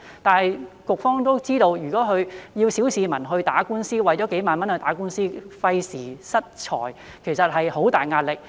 但是，局方都知道，如果要小市民去打官司，為了數萬元去打官司，費時失財，其實有很大壓力。